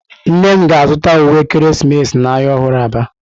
Nnem ga-azuta uwe ekeresimesi n'ahịa ọhụrụ Aba.